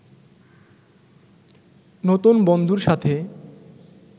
নতুন বন্ধুর সাথে